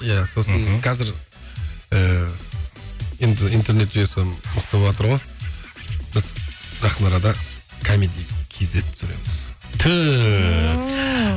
иә сосын қазір ііі енді интернет жүйесі мықты боватыр ғой біз жақын арада комеди кейзет түсіреміз түф